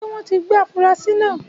Ṣé wọ́n tí gbé afurasi náà?